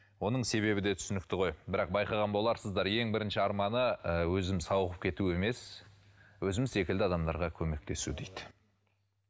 оның себебі де түсінікті ғой бірақ байқаған боларсыздар ең бірінші арманы ы өзім сауығып кету емес өзім секілді адамдарға көмектесу дейді